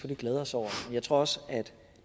glæde os over jeg tror også